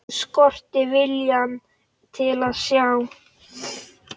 Skortir viljann til að sjá.